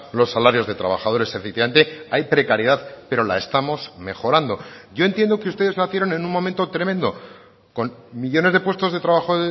los salarios de trabajadores efectivamente hay precariedad pero la estamos mejorando yo entiendo que ustedes nacieron en un momento tremendo con millónes de puestos de trabajo